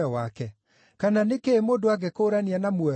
Kana nĩ kĩĩ mũndũ angĩkũũrania na muoyo wake?